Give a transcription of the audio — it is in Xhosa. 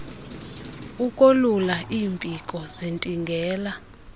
ukolula iimpiko zintingela